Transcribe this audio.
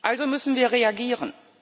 Also müssen wir reagieren.